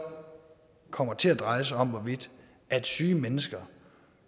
kommer til at dreje sig om hvorvidt syge mennesker